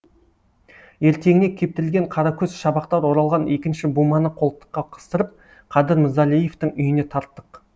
ертеңіне кептірілген қаракөз шабақтар оралған екінші буманы қолтыққа қыстырып қадыр мырзалиевтың үйіне тарттық